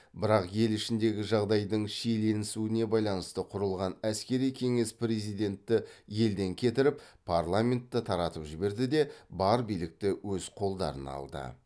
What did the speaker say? бірақ ел ішіндегі жағдайдың шиеленісуіне байланысты құрылған әскери кеңес президентті елден кетіріп парламентті таратып жіберді де бар билікті өз қолдарына алды